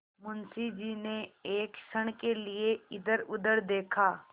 मुंशी जी ने एक क्षण के लिए इधरउधर देखा